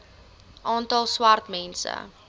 aantal swart mense